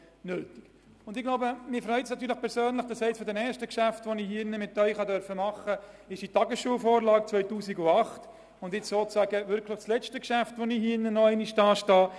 Mich persönlich freut es, dass eines meiner ersten Geschäfte im Grossen Rat die Tagesschulvorlage 2008 war und mein letztes Geschäft wieder die Betreuung betrifft.